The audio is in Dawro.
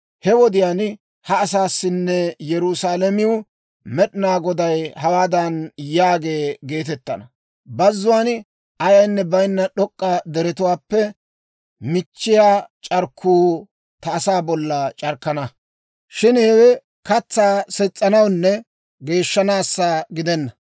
He wodiyaan ha asaassinne Yerusaalamew, Med'inaa Goday hawaadan yaagee geetettana; «Bazzuwaan ayaynne bayinna d'ok'k'a deretuwaappe michchiyaa c'arkkuu ta asaa bolla c'arkkana; shin hewe katsaa ses's'anawunne geeshshanaassa gidenna.